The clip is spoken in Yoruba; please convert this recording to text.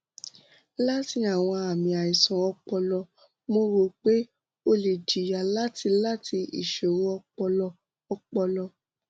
lati awọn aami aisan ọpọlọ mo ro pe o le jiya lati lati iṣoro ọpọlọ ọpọlọ